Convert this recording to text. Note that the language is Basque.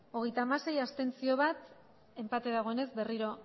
hogeita hamasei ez enpate dagoenez berriro